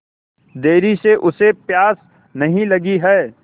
देर से उसे प्यास नहीं लगी हैं